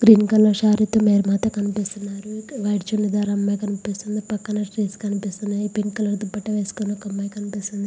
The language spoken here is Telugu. గ్రీన్ కలర్ శారీ తో మేరీమాత కనిపిస్తున్నారు వైట్ చూడిదర్ అమ్మాయి కనిపిస్తుంది పక్కన ట్రీస్ కనిపిస్తున్నాయి పింక్ కలర్ దుప్పట్టా వేసుకుని ఒక అమ్మాయి కనిపిస్తుంది.